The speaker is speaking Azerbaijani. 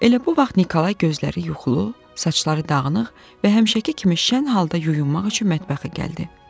Elə bu vaxt Nikolay gözləri yuxulu, saçları dağınıq və həmişəki kimi şən halda yuyunmaq üçün mətbəxə gəldi.